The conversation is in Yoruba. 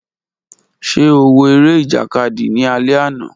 Ṣe o wo ere ijakadi ni alẹ ana?